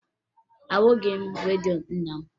Ahụghị m redio nna m